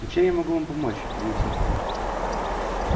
но чем я могу вам помочь удивился артём